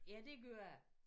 Ja det gør det